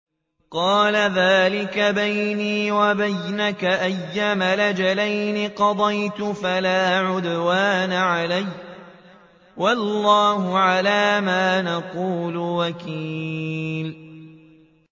قَالَ ذَٰلِكَ بَيْنِي وَبَيْنَكَ ۖ أَيَّمَا الْأَجَلَيْنِ قَضَيْتُ فَلَا عُدْوَانَ عَلَيَّ ۖ وَاللَّهُ عَلَىٰ مَا نَقُولُ وَكِيلٌ